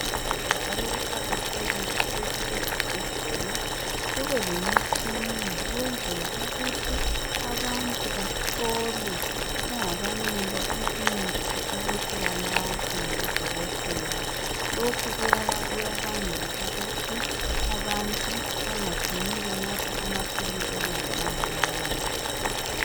Kuhle njalo kuqakathekile ukuthi ezibhedlela kube lemitshina ukwenzela ukuthi abantu bahlolwe bengakanikwa imithi ukuthi banathe ngabodokotela. Lokhu kuyabangela ukuthi abantu bengacini benatha amaphilisi okungamelanga bawanathe.